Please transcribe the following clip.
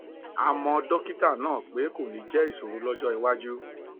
àmọ dọkítà ní pé kò ní jẹ ìṣòro lọjọ iwájú